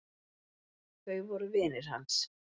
Þau voru vinir hans.